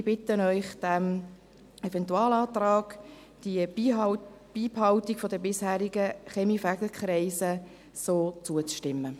Ich bitte Sie, dem Eventualantrag, der Beibehaltung der bisherigen Kaminfegerkreise zuzustimmen.